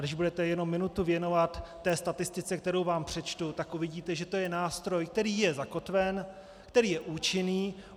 Když budete jenom minutu věnovat té statistice, kterou vám přečtu, tak uvidíte, že to je nástroj, který je zakotven, který je účinný.